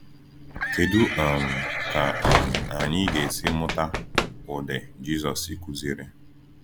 Kedu um ka um anyị ga-esi mụta ụdị Jisọs si kụziere?